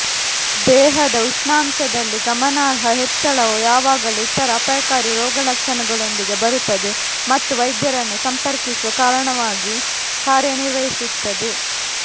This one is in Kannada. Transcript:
ದೇಹದ ಉಷ್ಣಾಂಶದಲ್ಲಿ ಗಮನಾರ್ಹ ಹೆಚ್ಚಳವು ಯಾವಾಗಲೂ ಇತರ ಅಪಾಯಕಾರಿ ರೋಗಲಕ್ಷಣಗಳೊಂದಿಗೆ ಬರುತ್ತದೆ ಮತ್ತು ವೈದ್ಯರನ್ನು ಸಂಪರ್ಕಿಸುವ ಕಾರಣವಾಗಿ ಕಾರ್ಯನಿರ್ವಹಿಸುತ್ತದೆ